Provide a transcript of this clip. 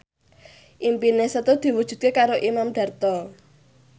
impine Setu diwujudke karo Imam Darto